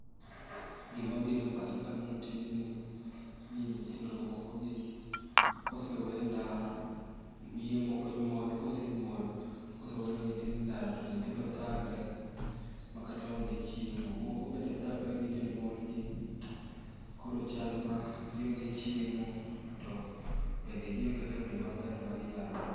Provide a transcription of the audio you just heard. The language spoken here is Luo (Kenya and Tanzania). Gima biro e pacha kaneno tijni ni nyithindo mokogi kosewe endara miye moko onyuol kosenyuol to koro weyo nyithindo endara to nyithindo thagre makata onge chiemo. Moko bende thagre gi jonyuolgi, koro chalma gionge chiemo to bende gionge lewni maber ma ginyalo rwako.